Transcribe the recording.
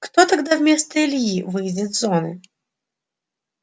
кто тогда вместо ильи выйдет с зоны